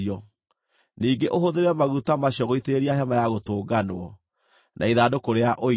Ningĩ ũhũthĩre maguta macio gũitĩrĩria Hema-ya-Gũtũnganwo, na ithandũkũ rĩa Ũira,